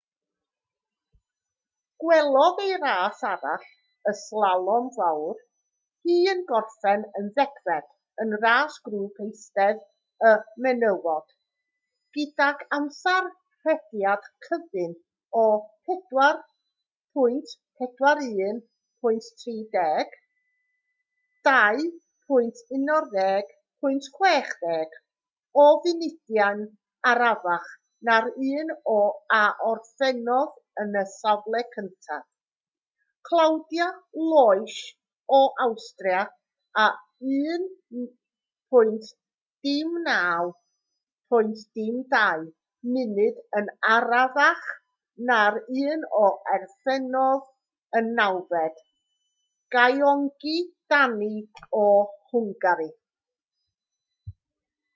gwelodd ei ras arall y slalom fawr hi yn gorffen yn ddegfed yn ras grŵp eistedd y menywod gydag amser rhediad cyfun o 4:41.30 2:11.60 o funudau'n arafach na'r un a orffennodd yn y safle cyntaf claudia loesch o awstria a 1:09.02 munud yn arafach na'r un a orffennodd yn nawfed gyöngyi dani o hwngari